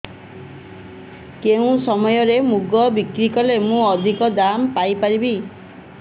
କେଉଁ ସମୟରେ ମୁଗ ବିକ୍ରି କଲେ ମୁଁ ଅଧିକ ଦାମ୍ ପାଇ ପାରିବି